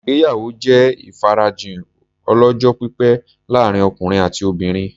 Ìgbéyàwó jẹ́ ìfarajìn ọlọ́jọ́-pípẹ́ láàrin ọkùnrin àti obìnrin.